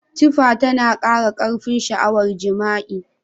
Tifa tana kara karfin sha'awar jima'i.